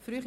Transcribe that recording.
Frühe